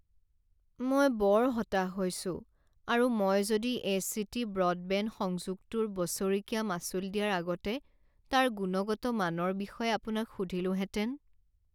মই বৰ হতাশ হৈছোঁ আৰু মই যদি এচিটি ব্ৰডবেণ্ড সংযোগটোৰ বছৰেকীয়া মাচুল দিয়াৰ আগতে তাৰ গুণগত মানৰ বিষয়ে আপোনাক সুধিলোহেঁতেন।